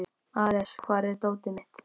Ares, hvar er dótið mitt?